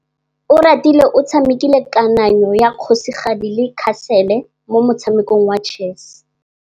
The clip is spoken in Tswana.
Oratile o tshamekile kananyô ya kgosigadi le khasêlê mo motshamekong wa chess.